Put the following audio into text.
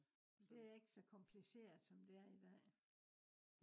det er ikke så kompliceret som det er i dag